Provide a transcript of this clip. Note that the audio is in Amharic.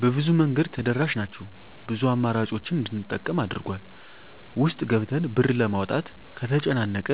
በብዙ መንገድ ተደራሽ ናቸው ብዙ አማራጮችን እንድንጠቀም አድርጎል። ውስጥ ገብተን ብር ለማውጣት ከተጨናነቀ